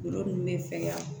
Golo nunnu be fɛgɛya